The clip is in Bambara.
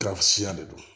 Garisya de do